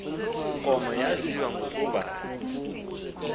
nkomo yaziwa ngokuba